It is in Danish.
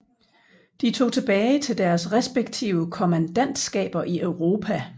De tog tilbage til deres respektive kommandantskaber i Europa